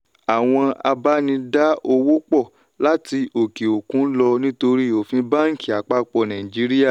àwọn abá ní dá owó pò láti òkè òkun lọ nítorí òfin banki àpapọ̀ nàìjíríà.